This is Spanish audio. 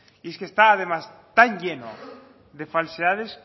y es que está además tan lleno de falsedades